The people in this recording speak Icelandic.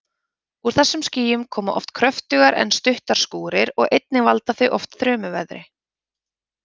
Úr þessum skýjum koma oft kröftugar en stuttar skúrir og einnig valda þau oft þrumuveðri.